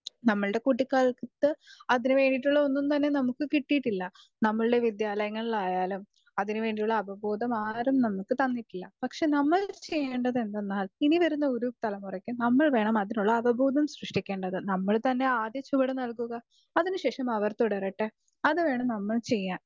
speaker 2 നമ്മുടെ കുട്ടികാലത്ത് അതിന് വേണ്ടിട്ടുള്ളത് ഒന്നും തന്നെ നമ്മുക്ക് കിട്ടിയിട്ടില്ല നമ്മുടെ വിദ്യാലയങ്ങളായാലും അതിന് വേണ്ടിയുള്ള അപബോധം ആരും നമ്മുക്ക് തന്നിട്ടില്ല പക്ഷെ നമ്മൾ ചെയ്യേണ്ടത് എന്തെന്നാൽ ഇനി വരുന്ന ഓരോ തലമുറക്കും നമ്മൾ വേണം അപബോധം സൃഷ്ടിക്കേണ്ടത് നമ്മൾ തന്നെ ആദ്യ ചുവട് നൽകുക അതിന് ശേഷം അവർ തുടരട്ടെ അത് വേണം നമ്മൾ ചെയ്യാൻ